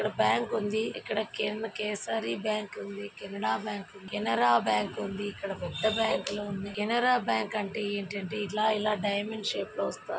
ఇక్కడ బ్యాంక్ ఉంది ఇక్కడ కేన్ కేసరి బ్యాంక్ ఉంది. కెనడా బ్యాంకు కెనరా బ్యాంక్ ఉంది. ఇక్కడ పెద్ద బ్యాంక్ ల ఉంది. కెనరా బ్యాంక్ అంటే ఏంటంటే ఇలా ఇలా డైమండ్ షేప్ లో వస్త--